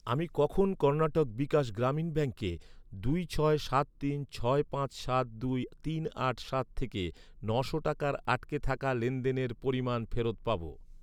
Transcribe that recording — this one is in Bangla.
আমি কখন কর্ণাটক বিকাশ গ্রামীণ ব্যাঙ্কে দুই ছয় সাত তিন ছয় পাঁচ সাত দুই তিন আট সাত থেকে নশো টাকার আটকে থাকা লেনদেনের পরিমাণ ফেরত পাব?